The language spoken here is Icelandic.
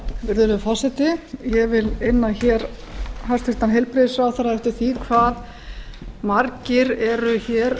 virðulegi forseti ég vil inna hæstvirtan heilbrigðisráðherra eftir því hve margir eru hér